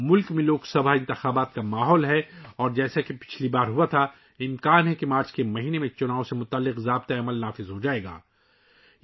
ملک میں لوک سبھا انتخابات کا ماحول ہے اور جیسا کہ پچھلی بار ہوا تھا، امکان ہے کہ مارچ کے مہینے میں بھی ضابطہ اخلاق نافذ ہو جائے گا